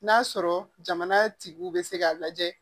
N'a sɔrɔ jamana tigiw bɛ se k'a lajɛ